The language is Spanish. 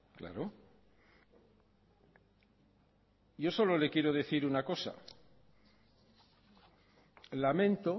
claro yo solo le quiero decir una cosa lamento